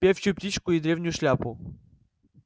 певчую птичку и древнюю шляпу